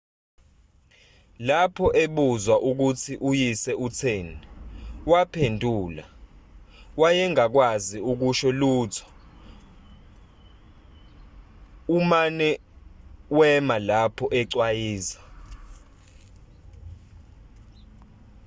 lapho ebuzwa ukuthi uyise utheni waphendula wayengakwazi ukusho lutho umane wema lapha ecwayiza